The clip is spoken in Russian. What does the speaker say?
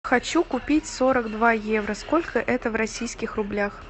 хочу купить сорок два евро сколько это в российских рублях